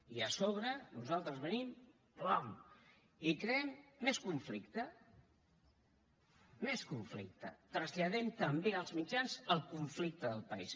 i a sobre nosaltres venim pam i creem més conflicte més conflicte traslladem també als mitjans el conflicte del país